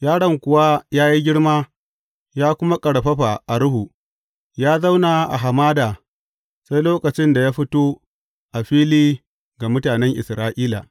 Yaron kuwa ya yi girma ya kuma ƙarfafa a ruhu; ya zauna a hamada sai lokacin da ya fito a fili ga mutanen Isra’ila.